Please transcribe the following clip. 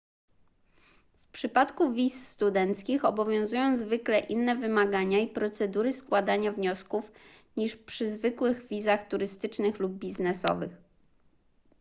w przypadku wiz studenckich obowiązują zwykle inne wymagania i procedury składania wniosków niż przy zwykłych wizach turystycznych lub biznesowych